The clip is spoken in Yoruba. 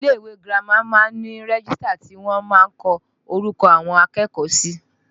Ilé ìwé girama máa ń ní rẹ́gístà tí wọ́n máa ń kọ orúkọ àwọn akẹ́kọ̀ọ́ sí